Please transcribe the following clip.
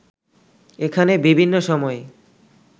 এখানে বিভিন্ন সময়ে